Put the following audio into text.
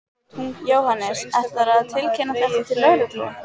Jóhannes: Ætlarðu að tilkynna þetta til lögreglu?